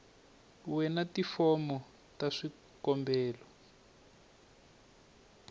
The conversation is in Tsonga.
we na tifomo ta swikombelo